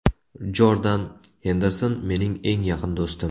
Jordan Henderson mening eng yaqin do‘stim!